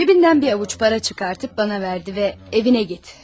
Cebindən bir ovuc para çıkartıp bana verdi ve evine git.